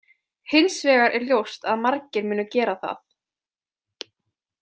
Hins vegar er ljóst að margir munu gera það.